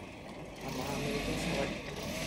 Amaa, mikincho zawadi?